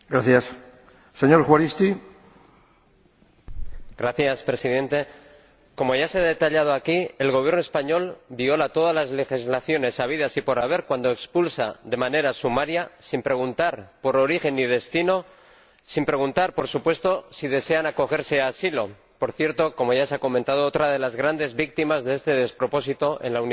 Señor Presidente, como ya se ha detallado aquí, el Gobierno español viola todas las legislaciones habidas y por haber cuando expulsa de manera sumaria, sin preguntar por origen ni destino y sin preguntar, por supuesto, si desean acogerse a asilo —por cierto, como ya se ha comentado, otra de las grandes víctimas de este despropósito en la Unión Europea—.